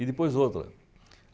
E depois outra.